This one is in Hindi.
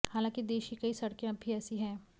हालांकि देश की कई सड़कें अब भी ऐसी हैं